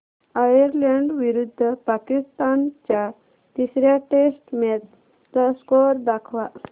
Ireland विरुद्ध पाकिस्तान च्या तिसर्या टेस्ट मॅच चा स्कोअर दाखवा